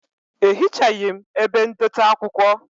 Ehichaghi m ebe ndote akwụkwọ